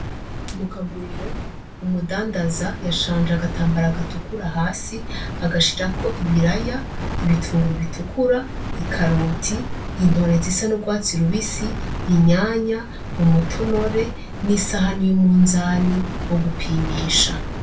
Mu kaguriro umudandaza yashanje agatambara gatukura hasi agashirako: ibiraya, ibitunguru bitukura, ikaroti, intore zisa n'ugwatsi rubisi, inyanya, umutonore n'isahani y'umunzani wo gupimisha.